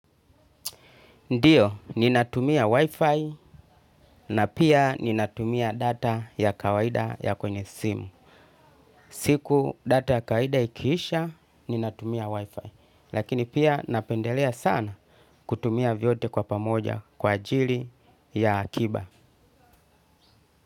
Ndiyo, ninatumia Wi-Fi na pia ninatumia data ya kawaida ya kwenye simu. Siku data ya kawaida ikiisha, ninatumia Wi-Fi. Lakini pia napendelea sana kutumia vyote kwa pamoja kwa ajili ya akiba.